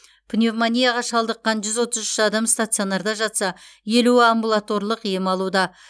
пневмонияға шалдыққан жүз отыз үш адам стационарда жатса елуі амбулаторлық ем алуда